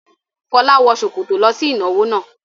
Fọlá wọ ṣòkòtò lọ sí ìnáwó náà.